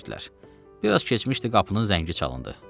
Bir az keçmişdi, qapının zəngi çalındı.